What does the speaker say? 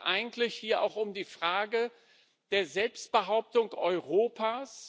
Es geht eigentlich hier auch um die Frage der Selbstbehauptung Europas.